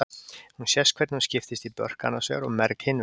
Hér sést hvernig hún skiptist í börk annars vegar og merg hins vegar.